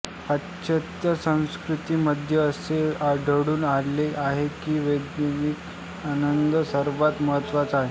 पाश्चात्य संस्कृतींमध्ये असे आढळून आले आहे की वैयक्तिक आनंद सर्वात महत्वाचा आहे